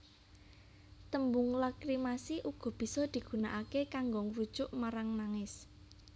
Tembung lakrimasi uga bisa digunakaké kanggo ngrujuk marang nangis